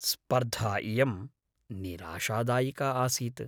स्पर्धा इयं निराशादायिका आसीत्।